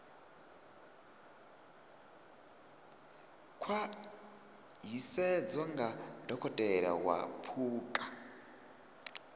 khwaṱhisedzwa nga dokotela wa phukha